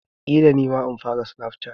Ƙila nima in fara snap chatting.